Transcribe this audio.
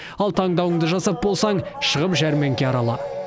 ал таңдауыңды жасап болсаң шығып жәрмеңке арала